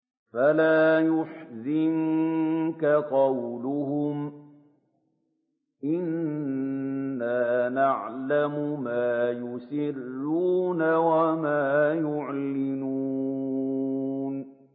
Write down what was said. فَلَا يَحْزُنكَ قَوْلُهُمْ ۘ إِنَّا نَعْلَمُ مَا يُسِرُّونَ وَمَا يُعْلِنُونَ